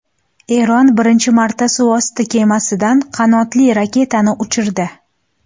Eron birinchi marta suvosti kemasidan qanotli raketani uchirdi .